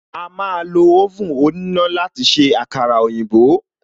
A máa lo oven òníná láti se àkàrà òyìnbó